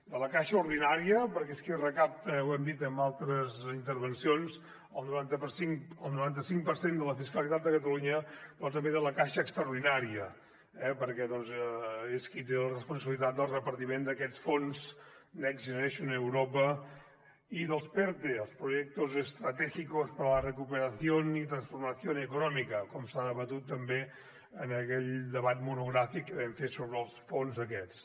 de la caixa ordinària perquè és qui recapta ho hem dit en altres intervencions el noranta cinc per cent de la fiscalitat de catalunya però també de la caixa extraordinària perquè és qui té la responsabilitat del repartiment d’aquests fons next generation europe i dels perte els proyectos estratégicos para la recuperación y transformación económica com s’ha debatut també en aquell debat monogràfic que vam fer sobre els fons aquests